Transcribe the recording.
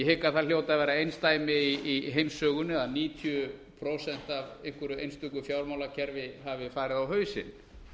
hygg að það hljóti að vera einsdæmi í heimssögunni að níutíu prósent af einhverju einstöku fjármálakerfi hafi farið á hausinn